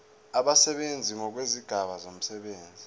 abasebenzi ngokwezigaba zomsebenzi